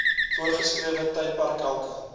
voorgeskrewe tydperk elke